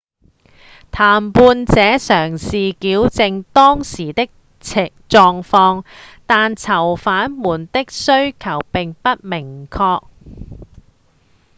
談判者嘗試矯正當時的狀況但囚犯們的需求並不明確